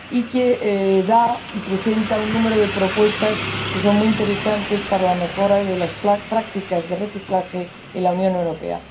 y que se presenta un número de propuestas que son muy interesantes para la mejora de las prácticas de reciclaje en la Unión Europea.